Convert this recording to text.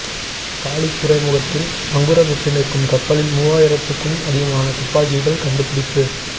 Khalid துறைமுகத்தில் நங்கூரமிட்டு நிற்கும் கப்பலில் மூவாயிரத்துக்கும் அதிகமான துப்பாக்கிகள் கண்டுபிடிப்பு